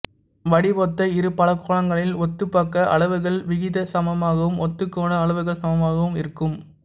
வடிவொத்த இரு பலகோணங்களின் ஒத்த பக்க அளவுகள் விகிதசமமாகவும் ஒத்த கோண அளவுகள் சமமாகவும் இருக்கும்